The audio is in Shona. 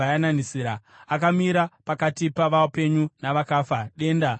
Akamira pakati pavapenyu navakafa, denda rikamirawo.